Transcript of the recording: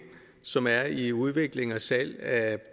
som er i udvikling og salg af